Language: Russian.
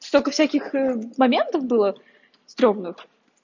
столько всяких моментов было стрёмных